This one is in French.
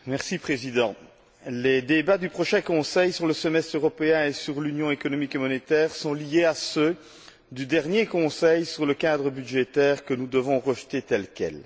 Monsieur le Président, les débats du prochain Conseil sur le semestre européen et sur l'Union économique et monétaire sont liés à ceux du dernier Conseil sur le cadre budgétaire que nous devons rejeter tel quel.